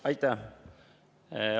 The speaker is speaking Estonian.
Aitäh!